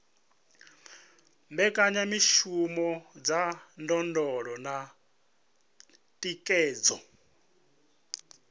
mbekanyamishumo dza ndondolo na thikhedzo